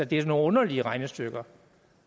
det er jo nogle underlige regnestykker